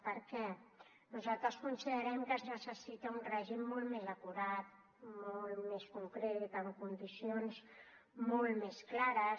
per què nosaltres considerem que es necessita un règim molt més acurat molt més concret amb condicions molt més clares